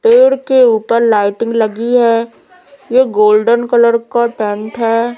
पेड़ के ऊपर लाइटिंग लगी है ये गोल्डन कलर का टेंट है।